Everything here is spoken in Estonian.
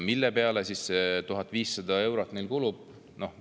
Mille peale see 1500 eurot neil siis kulub?